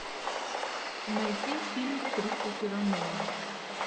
найди фильм кристофера нолана